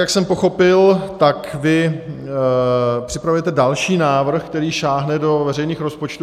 Jak jsem pochopil, tak vy připravujete další návrh, která sáhne do veřejných rozpočtů.